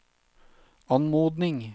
anmodning